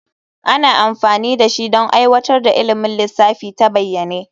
Ana amfani da shi don aiwatar da ilimin lissafi ta bayyane.